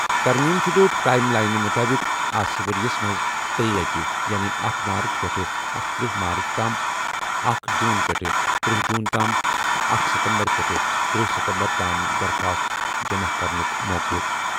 ترمیم شُدٕ ٹایِم لاینہِ مُطٲبِق آسہِ ؤرِیس منٛز ترٛیٚیہِ لَٹہِ یعنی اکھ مارٕچ پٮ۪ٹھٕ اکتٕرہ مارٕچ تام، اکھَ جوٗن پٮ۪ٹھٕ ترٔہ جوٗن تام تہٕ اکھ ستمبر پٮ۪ٹھٕ تٔرہ ستمبر تام درخواستہٕ جمع کرنُک موقعہٕ۔